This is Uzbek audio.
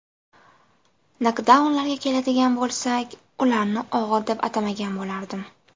Nokdaunlarga keladigan bo‘lsak, ularni og‘ir deb atamagan bo‘lardim.